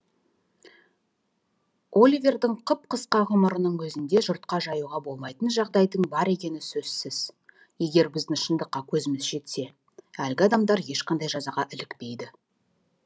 оливердің қып қысқа ғұмырының өзінде жұртқа жаюға болмайтын жағдайдың бар екені сөзсіз егер біздің шындыққа көзіміз жетсе әлгі адамдар ешқандай жазаға ілікпейді